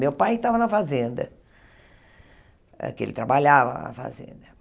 Meu pai estava na fazenda, porque ele trabalhava na fazenda.